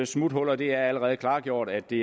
smuthuller det er allerede klargjort at det